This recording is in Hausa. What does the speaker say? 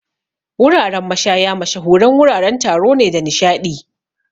Wuraren mashaya mashahuran wuraren taro ne da nishaɗi.